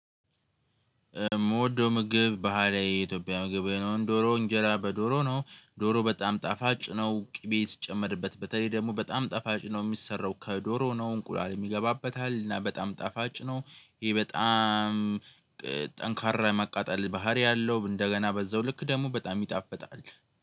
የምወደው ምግብ ባህላዊ የኢትዮጵያ ምግብ ነው ዶሮ እንጀራ በዶሮ ነው ዶሮ በጣም ጣፋጭ ነው። ቅቤ ሲጨመርበት በተለይ ደግሞ በጣም ጣፋጭ ነው የሚሰራው ከዶሮ ነው። እንቁላልም ይገባበታል እና በጣም ጣፋጭ ነው። ይሄ በጣም ጠንካራ የማቃጠል ባህሪ አለው። እንደገና በዛው ልክ ደግሞ በጣም ይጣፍጣል